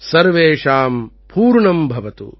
சர்வேஷாம் பூர்ணம் பவது